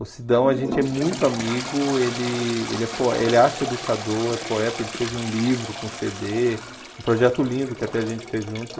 O Sidão, a gente é muito amigo, ele ele é po ele é arte educador, é poeta, ele fez um livro com cê dê, um projeto lindo que até a gente fez junto.